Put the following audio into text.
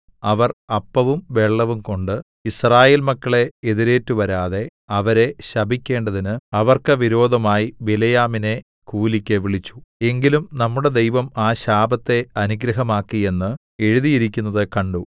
അവർ അപ്പവും വെള്ളവും കൊണ്ട് യിസ്രായേൽ മക്കളെ എതിരേറ്റുവരാതെ അവരെ ശപിക്കേണ്ടതിന് അവർക്ക് വിരോധമായി ബിലെയാമിനെ കൂലിക്ക് വിളിച്ചു എങ്കിലും നമ്മുടെ ദൈവം ആ ശാപത്തെ അനുഗ്രഹമാക്കി എന്ന് എഴുതിയിരിക്കുന്നത് കണ്ടു